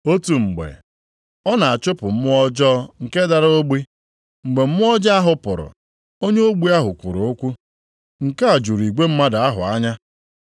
Otu mgbe, ọ na-achụpụ mmụọ ọjọọ nke dara ogbi, mgbe mmụọ ọjọọ ahụ pụrụ, onye ogbi ahụ kwuru okwu. Nke a juru igwe mmadụ ahụ anya.